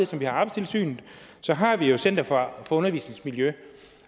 som vi har arbejdstilsynet har vi jo center for undervisningsmiljø